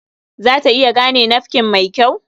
Za ta iya gane nafkin mai kyau?